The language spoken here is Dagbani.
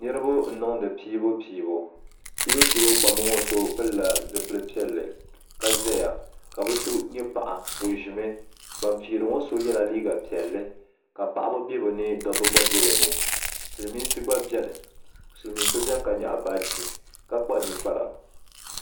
Niribi n niŋdi piibupiibu piibupiibu kpamba ŋɔ puuni so pilila zipili piɛli ka zaya kabi so nyɛ paɣa ɔ ʒimi ban piiri ŋɔ sɔ yela liiga piɛli ka paɣaba be bɛni dabi gba be bini. silimiinsi gba beni silimiinsi beni ka nyaɣi baaji kpakpa ninkpara